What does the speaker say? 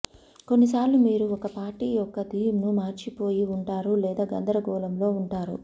కొన్ని సార్లు మీరు ఒక పార్టీ యొక్క థీమ్ ను మర్చిపోయి ఉంటారు లేదా గందరగోళంలో ఉంటారు